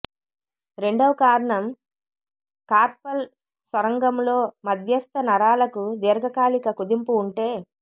రెండవ కారణం కార్పల్ సొరంగంలో మధ్యస్థ నరాలకు దీర్ఘకాలిక కుదింపు ఉంటే